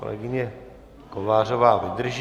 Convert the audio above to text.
Kolegyně Kovářová vydrží.